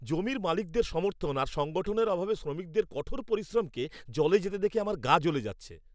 জমির মালিকদের সমর্থন আর সংগঠনের অভাবে শ্রমিকদের কঠোর পরিশ্রমকে জলে যেতে দেখে আমার গা জ্বলে যাচ্ছে।